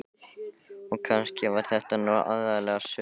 Og kannski var þetta nú aðallega sukk.